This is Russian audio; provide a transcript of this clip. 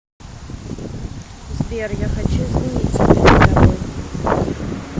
сбер я хочу извиниться перед тобой